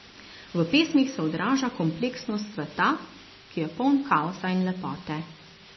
V pesmih se odraža kompleksnost sveta, ki je poln kaosa in lepote.